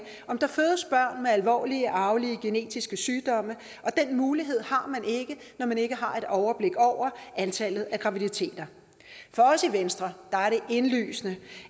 alvorlige arvelige genetiske sygdomme og den mulighed har man ikke når man ikke har et overblik over antallet af graviditeter for os i venstre er det indlysende